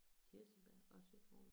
Kirsebær og citron